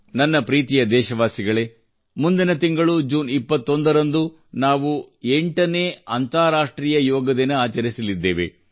ನನ್ನ ಪ್ರೀತಿಯ ದೇಶವಾಸಿಗಳೇ ಮುಂದಿನ ತಿಂಗಳು ಜೂನ್ 21 ರಂದು ನಾವು ಎಂಟನೇ ಅಂತಾರಾಷ್ಟ್ರೀಯ ಯೋಗ ದಿನ ಆಚರಿಸಲಿದ್ದೇವೆ